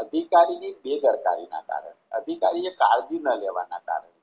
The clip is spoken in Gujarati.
અધિકારીના બેદરકારીના કારણે અધિકારીએ કાળજી ન લેવા ના કારણે